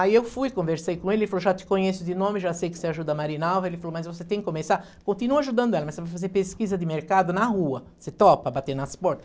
Aí eu fui, conversei com ele, ele falou, já te conheço de nome, já sei que você ajuda a Marinalva, ele falou, mas você tem que começar, continua ajudando ela, mas você vai fazer pesquisa de mercado na rua, você topa bater nas porta?